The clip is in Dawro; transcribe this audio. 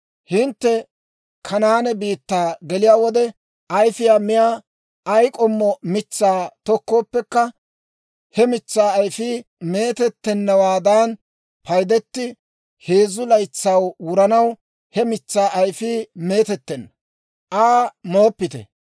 « ‹Hintte Kanaane biittaa geliyaa wode, ayfiyaa miyaa ay k'ommo mitsaa tokkooppekka, he mitsaa ayfiyaa meetettennawaadan paydite; heezzu laytsay wuranaw he mitsaa ayfii meetettenna; Aa mooppite.